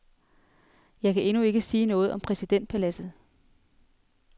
Jeg kan endnu ikke sige noget om præsidentpaladset.